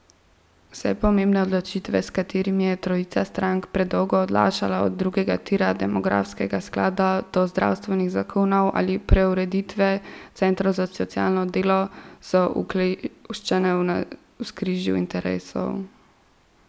Vse pomembne odločitve, s katerimi je trojica strank predolgo odlašala, od drugega tira, demografskega sklada, do zdravstvenih zakonov ali preureditve Centrov za socialno delo, so ukleščene v navzkrižju interesov.